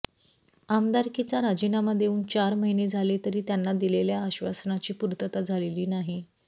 आमदारकीचा राजीनामा देऊन चार महिने झाले तरी त्यांना दिलेल्या आश्वासनाची पूर्तता झालेली नाही